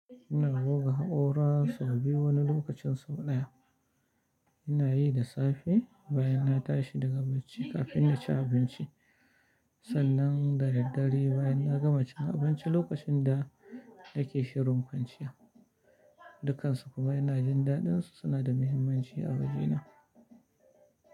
Ina goga haƙora sau biyu wani lokacin sau ɗaya. Ina yi da safe bayan na tashi daga bacci kafin na ci abinci, sannan da daddare bayan na gama cin abinci lokacin da yake shirin kwanciya. Dukansu kuma ina jin daɗinsu suna da mahimmanci a wajena.